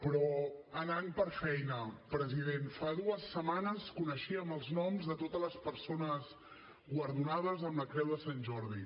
però anant per feina president fa dues setmanes coneixíem els noms de totes les persones guardonades amb la creu de sant jordi